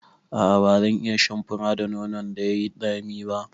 A'a bazan iya shan fura da nonon da yai tsami ba